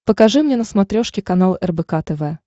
покажи мне на смотрешке канал рбк тв